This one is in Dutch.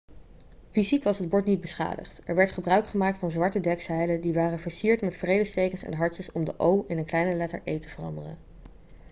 fysiek was het bord niet beschadigd er werd gebruik gemaakt van zwarte dekzeilen die waren versierd met vredestekens en hartjes om de o' in een kleine letter e' te veranderen